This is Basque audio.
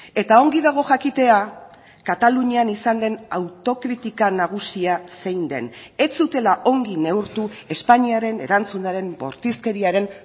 eta ongi dago jakitea katalunian izan den autokritika nagusia zein den ez zutela ongi neurtu espainiaren erantzunaren bortizkeriaren